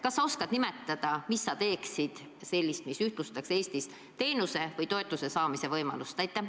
Kas sa oskad nimetada, mida sa teeksid sellist, mis ühtlustaks Eestis teenuse või toetuse saamise võimalusi?